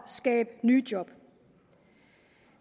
skabe nye job